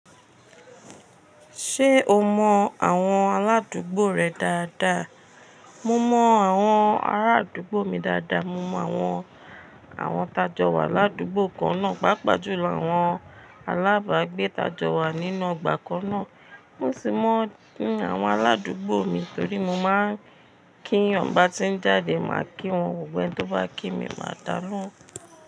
Ṣé o mọ àwọn aládùúgbò rẹ dáadáa? Mo mọ àwọn ará àdúgbò mi dáadáa, mo mọ àwọn, àwọn tájọ wà ládùúgbò kan náà, pàápàá ju lọ àwọn alábàágbé tájọ wà nínú ọgbà kan náà. Mo sì mọ àwọn aládùúgbò mi torí mo máa ń kí yan n bá ti ń jáde, màá kí wọn, gbogbo ẹni tó bá kí mi, màá da lóhùn.